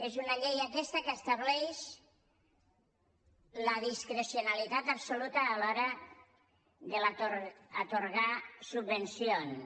és una llei aquesta que estableix la discrecionalitat absoluta a l’hora d’atorgar subvencions